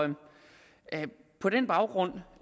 på den baggrund